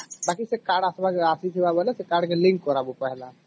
ବାକି ସେ card ଆସିବରେ ଆସିଥିବା ବେଳେ ସେ card link କରିବ ପେହଲେ